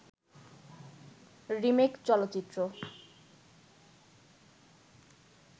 remake চলচ্চিত্র